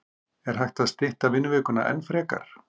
Er hægt að stytta vinnuvikuna enn frekar?